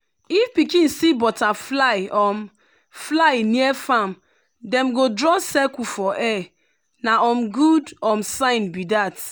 if pikin see butterfly um fly near farm dem go draw circle for air na um good um sign be that.